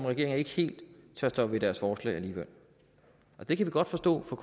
regeringen ikke helt tør stå ved deres forslag alligevel det kan vi godt forstå fra